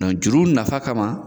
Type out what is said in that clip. Dɔn juru nafa kama